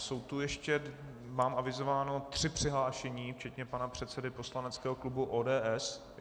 Jsou tu ještě, mám avizováno, tři přihlášení, včetně pana předsedy poslaneckého klubu ODS.